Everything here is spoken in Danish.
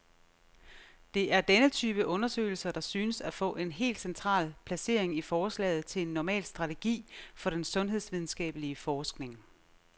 Det er denne type undersøgelser, der synes at få et helt central placering i forslaget til en normal strategi for den sundhedsvidenskabelig forskning.